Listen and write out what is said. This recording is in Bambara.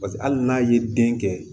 Paseke hali n'a ye den kɛ